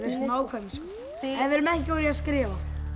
svo nákvæmir en við erum ekki góðir í að skrifa